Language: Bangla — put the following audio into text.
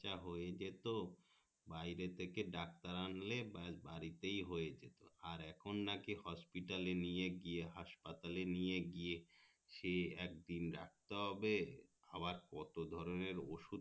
যা হয়ে যেত বাইরে থেকে ডাক্তার আনলে বা বাড়িতে ই হয়ে যেত আর এখন নাকি hospital এ নিয়ে গিয়ে হাসপাতালে নিয়ে গিয়ে সে একদিন রাখতে হবে আবার কত ধরণের ওষুধ